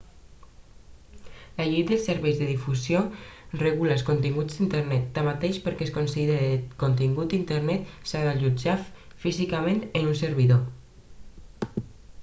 la llei de serveis de difusió regula els continguts d'internet tanmateix perquè es consideri contingut d'internet s'ha d'allotjar físicament en un servidor